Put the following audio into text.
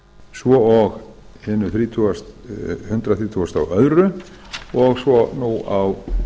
svo og hinu hundrað þrjátíu og tvö og svo nú á